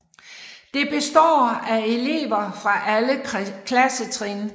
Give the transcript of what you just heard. Det består af elever fra alle klassetrin